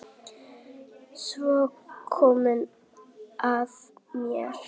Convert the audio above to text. Svo kom að mér.